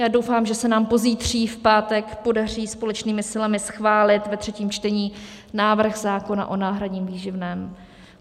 Já doufám, že se nám pozítří, v pátek, podaří společnými silami schválit ve třetím čtení návrh zákona o náhradním výživném.